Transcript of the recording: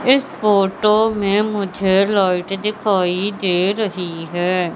इस फोटो में मुझे लाइट दिखाई दे रही है।